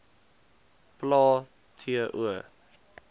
plae t o